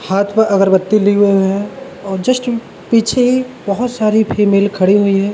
हाथ पे अगरबत्ती लिवे हुए हैं और जस्ट पीछे ही बहुत सारी फीमेल खड़ी हुई हैं।